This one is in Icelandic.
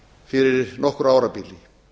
fyrir nokkru árabili